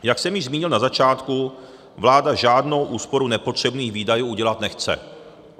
Jak jsem již zmínil na začátku, vláda žádnou úsporu nepotřebných výdajů udělat nechce.